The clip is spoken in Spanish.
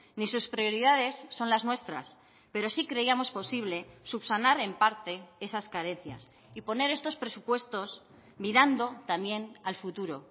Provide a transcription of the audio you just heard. ni sus prioridades son las nuestras pero sí creíamos posible subsanar en parte esas carencias y poner estos presupuestos mirando también al futuro